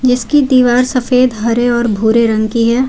इसकी दीवार सफेद हरे और भूरे रंग की है।